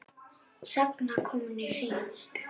Sagan komin í hring.